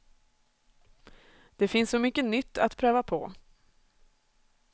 Det finns så mycket nytt att pröva på.